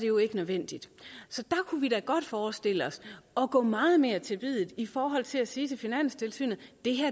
jo ikke nødvendigt så der kunne vi da godt forestille os at gå meget mere til biddet i forhold til at sige til finanstilsynet